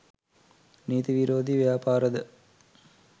නීති විරෝධී ව්‍යාපාරද